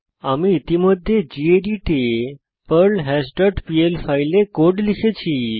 আমি ইতিমধ্যে গেদিত এ পার্লহাশ ডট পিএল ফাইলে কোড লিখেছি